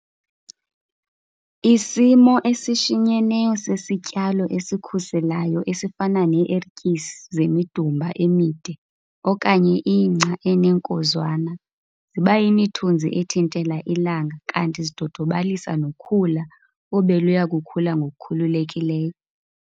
Isimo esishinyeneyo sesityalo esikhuselayo esifana nee-ertyisi zemidumba emide okanye ingca eneenkozwana ziba yimithunzi ethintela ilanga kanti zidodobalisa nokhula obeluya kukhula ngokukhululekileyo.